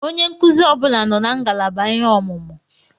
Onye nkụzi ọbụla nọ na ngalaba ihe ọmụmụ.